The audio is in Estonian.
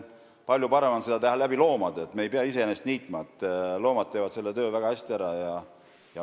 Palju parem on seda korraldada loomade abil, me ei pea iseenesest niitma, loomad teevad selle töö väga hästi ära.